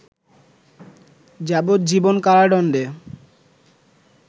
যাবজ্জীবন কারাদণ্ডে